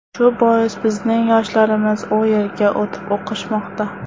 Shu bois bizning yoshlarimiz u yerga o‘tib o‘qishmoqda.